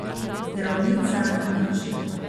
Zdravnica nič.